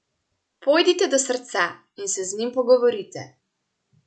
Pojdite do srca in se z njim pogovorite.